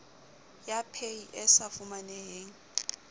ya paye e sa fumaneheng